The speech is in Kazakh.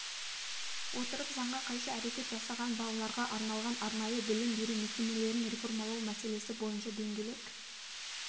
отырып заңға қайшы әрекет жасаған балаларға арналған арнайы білім беру мекемелерін реформалау мәселесі бойынша дөңгелек